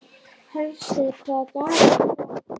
Hersir, hvaða dagur er í dag?